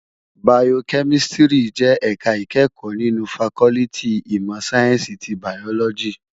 Bàyókèmìsítìrí jè èká ikèékò ninú fákòlìtí imò sáyènsí ti bàyólòjí